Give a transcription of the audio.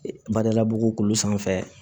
Badalabugu kulu sanfɛ